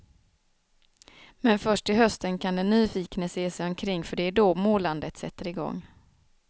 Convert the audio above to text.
Men först till hösten kan den nyfikne se sig omkring för det är då målandet sätter igång.